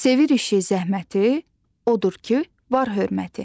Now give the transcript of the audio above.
Sevir işi zəhməti, odur ki, var hörməti.